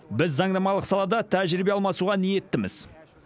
біз заңнамалық салада тәжірибе алмасуға ниеттіміз